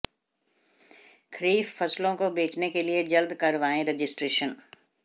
खरीफ फसलों को बेचने के लिए जल्द करवाएं रजिस्ट्रेशन